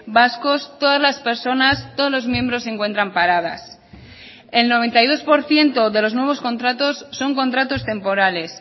vascos todas las personas todos los miembros se encuentran paradas el noventa y dos por ciento de los nuevos contratos son contratos temporales